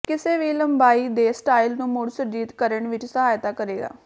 ਕਿਸੇ ਵੀ ਲੰਬਾਈ ਦੇ ਸਟਾਈਲ ਨੂੰ ਮੁੜ ਸੁਰਜੀਤ ਕਰਨ ਵਿਚ ਸਹਾਇਤਾ ਕਰੇਗਾ